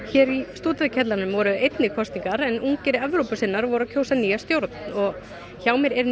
hér í Stúdentakjallaranum voru einnig kosningar en ungir Evrópusinnar voru að kjósa sér nýja stjórn hjá mér er